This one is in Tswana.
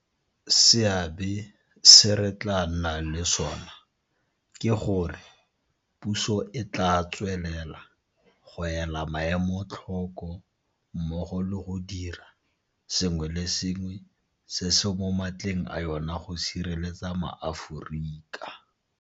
Seabe se re tla nnang le sona ke gore, puso e tla tswelela go ela maemo tlhoko mmogo le go dira sengwe le sengwe se se mo matleng a yona go sireletsa maAforika.